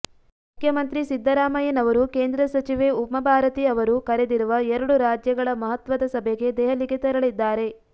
ಮುಖ್ಯಮಂತ್ರಿ ಸಿದ್ದರಾಮಯ್ಯನವರು ಕೇಂದ್ರ ಸಚಿವೆ ಉಮಾಭಾರತೀ ಅವರು ಕರೆದಿರುವ ಎರಡು ರಾಜ್ಯಗಳ ಮಹತ್ವದ ಸಭೆಗೆ ದೆಹಲಿಗೆ ತೆರಳಿದ್ದಾರೆ